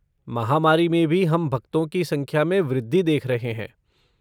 महामारी में भी हम भक्तों की संख्या में वृद्धि देख रहे हैं।